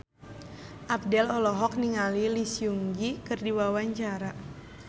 Abdel olohok ningali Lee Seung Gi keur diwawancara